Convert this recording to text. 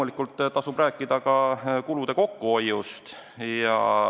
Kindlasti tasub rääkida ka kulude kokkuhoiust.